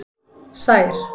Sær